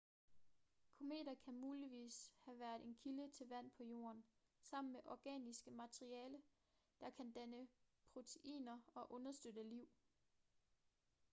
kometer kan muligvis have været en kilde til vand på jorden sammen med organisk materiale der kan danne proteiner og understøtte liv